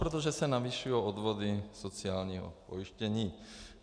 Protože se navyšují odvody sociálního pojištění.